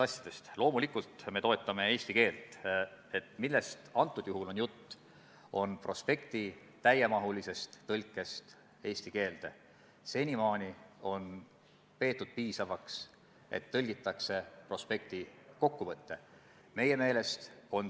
Kas teil komisjonis ei tekkinud arutelude käigus mõtet või kas keegi ei pakkunud välja, et nimetatud teemat, eriti kui eelnõu on teatud aspektides laienenud, võiks ka sotsiaalkomisjon arutada?